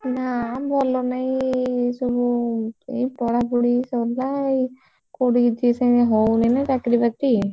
ନା ଭଲ ନାହି ଏଇସବୁ ଏଇ ପଢାପଢି ସରିଲା ଏଇ କୋଉଠି କିଛି ସେମିତି ହଉନି ନା ଚାକିରି ବାକିରି।